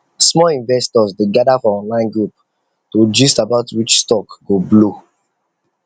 small investors dey gather for online group to gist about which stock go blow